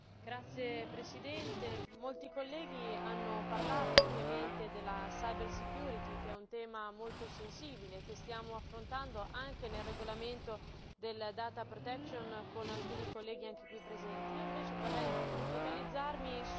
Signor Presidente, molti colleghi hanno parlato ampiamente della cirbersicurezza, che è un tema molto sensibile che stiamo affrontando anche nel regolamento della protezione dei dati con alcuni colleghi qui presenti.